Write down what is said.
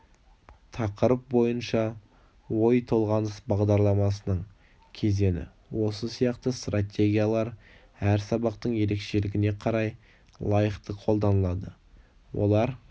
тақырып бойынша ой тоғаныс бағдарламасының кезеңі осы сияқты стратегиялар әр сабақтың ерекшелігіне қарай лайықты қолданылады олар